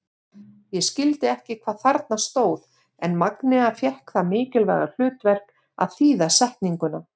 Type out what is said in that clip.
Ég skildi ekki hvað þarna stóð en Magnea fékk það mikilvæga hlutverk að þýða setninguna.